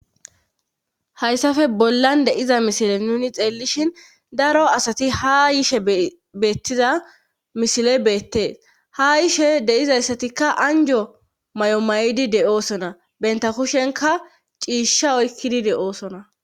Hayssafe bollan deiza misile nuni xeellishin daro asati ha yishe beettiza misile beettee ha yishe deizayssatikka anjo may7o may7idi de7oosona benta kushenka ciisha oykkidi deoosona.